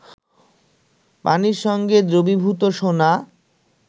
পানির সঙ্গে দ্রবীভূত সোনা